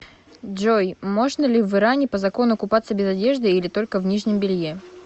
джой можно ли в иране по закону купаться без одежды или только в нижнем белье